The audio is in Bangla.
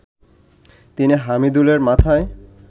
তিনি হামিদুলের মাথায়